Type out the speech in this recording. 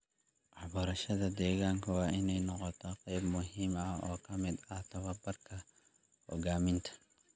Waxbarashada deegaanka waa in ay noqotaa qayb muhiim ah oo ka mid ah tababarka hoggaaminta.